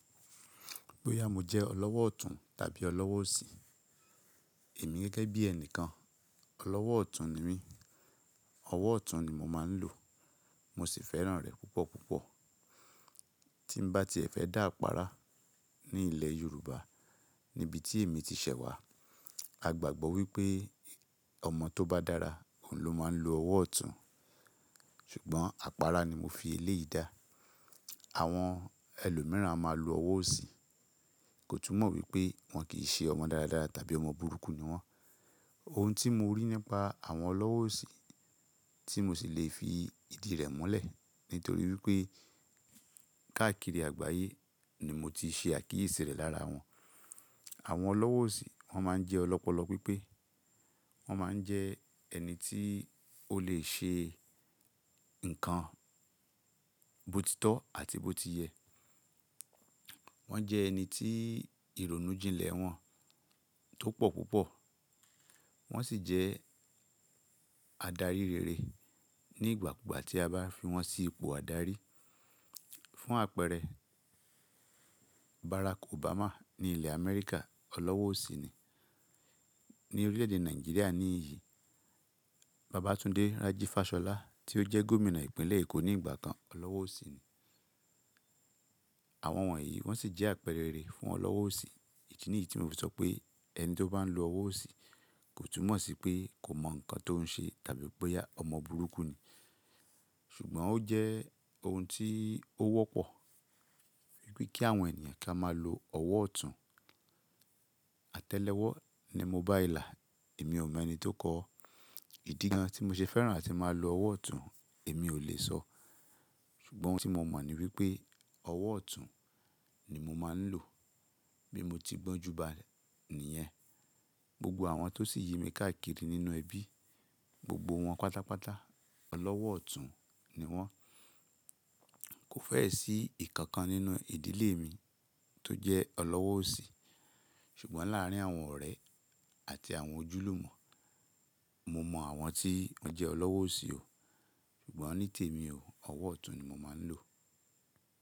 Bóyá mo jẹ́ ọlọ́wọ́ ọ̀tún tàbí ọlọ́wọ́ òsì, èmi gẹ́gẹ́ bí ẹnìkan ọlọ́wọ́ ọ̀tún ni mí. Ọwọ́ ọ̀tún ni mo máa ń lò, mo sì fẹ́ràn rẹ̀ púpọ̀ púpọ̀. Tí mo bá ti fẹ́ dá àpáárá ní ilẹ̀ Yorùbá níbi tí èmi ti ṣẹ̀ wá, a gbàgbọ́ wípé ọmọ tó bá dára òun ló máa ń lo ọwọ́ ọ̀tún. Ṣùgbọ́n àpáárá ni mo fi ilé yìí dá. Àwọn ẹlòmíràn a máa lo ọwọ́ òsì, kò túmọ̀ wípé wọ́n kì í ṣe ọmọ dáradára tàbí ọmọ burúkú ni wọ́n. Ohun tí mo rí nípa àwọn ọlọ́wọ́ òsì tí mo sì lè fi ìdí rẹ̀ múlẹ̀ nítorí wípé káàkiri àgbáyé ni mo ti ṣe àkíyèsí rẹ̀ lára wọn. Àwọn ọlọ́wọ́ òsì wọ́n máa ń jẹ́ ọlọ́pọlọ pípé. Wọ́n máa ń jẹ ẹni tí ó lè ṣe ǹkan botitọ́ àti bó ti yẹ. Wọ́n jẹ́ ẹni tí ìrònú jìnlẹ̀ wọn tó pọ̀ púpọ̀. Wọ́n sì jẹ́ adarí rere ní ìgbàkugbà tí a bá fi wọ́n sí ipò adarí. Fún àpẹẹrẹ Barack Obama ní ilẹ̀ America ọlọ́wọ́ òsì ni. Ni orílẹ̀ èdè Nàìjíríà ní ìyí, Babátúndé Raji Fashola tí ó jẹ́ gómìnà ìpínlẹ̀ Èkó ní ìgbà kan ọlọ́wọ́ òsì ni. Àwọn wọ̀nyí wọ́n sì jẹ́ àpẹẹrẹ rere fún ọlọ́wọ́ òsì. Èyí nìyí tí mo fi sọ pé ẹni tó bá ń lo ọwọ́ òsì kò túmọ̀ sí pé kò mọ nǹkan tó ń ṣe tàbí pé ọmọ burúkú ni. Ṣùgbọ́n ó jẹ́ ohun tí ó wọ́pọ̀ wípé kí àwọn ènìyàn ká máa lo ọwọ́ ọ̀tún. Àtẹ́lẹwọ́ ni mo bá ìlà, èmi ò mọ ẹni tó kọ́. Ìdí kan tí mo ṣe fẹ́ràn àti máa lo ọwọ́ ọ̀tún èmi ò lè sọ. Ṣùgbọ́n ohun tí mo mọ̀ ni wípé ọwọ́ ọ̀tún ni mo máa ń lò. Bí mo ti gbọ́njú bá a ni ẹ́. Gbogbo àwọn tó sì yemi káàkiri nínú ẹbí, gbogbo wọn pátápátá ọlọ́wọ́ ọ̀tún ni wọ́n. Kò fẹ́ẹ̀ sí ìkankan nínú ìdílé mi tó jẹ́ ọlọ́wọ́ òsì. Ṣùgbọ́n láàárín àwọn ọ̀rẹ́ àti àwọn ojúlùmọ̀, mo mọ àwọn tí wọ́n jẹ́ ọlọ́wọ́ òsì o. Ṣùgbọ́n onítèmi o, ọwọ́ ọ̀tún ni mo máa ń lò.